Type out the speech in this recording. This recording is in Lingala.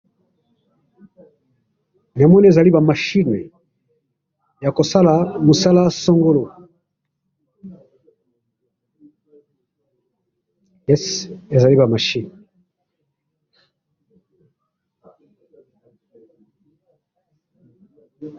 namoni ezaliba machine yakosala musala songolo esi izali ba machine